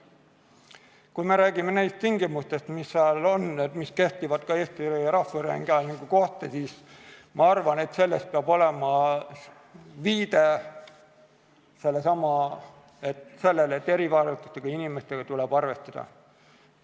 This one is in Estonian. Kui me räägime neist tingimustest, mis seal on ja mis kehtivad Eesti Rahvusringhäälingu kohta, siis ma arvan, et seal peab olema viide sellelesamale, et erivajadustega inimestega tuleb arvestada.